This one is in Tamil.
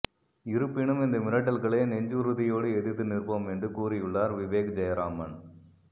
இருப்பினும் இந்த மிரட்டல்களை நெஞ்சிறுதியோடு எதிர்த்து நிற்போம் என்று கூறியுள்ளார் விவேக் ஜெயராமன்